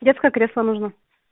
детское кресло нужно